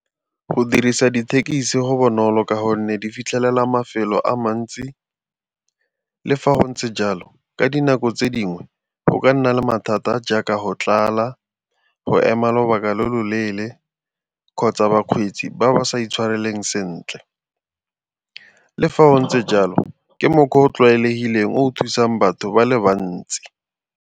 Go dirisa dithekisi go bonolo ka gonne di fitlhelela mafelo a mantsi. Le fa go ntse jalo ka dinako tse dingwe go ka nna le mathata jaaka go tlala, go ema lobaka lo lo leele kgotsa bakgweetsi ba ba sa intshwareleng sentle. Le fa go ntse jalo ke mokgwa o o tlwaelegileng o thusang batho ba le bantsi.